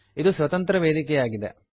ಇದು ಸ್ವತಂತ್ರ ವೇದಿಕೆಯಾಗಿದೆ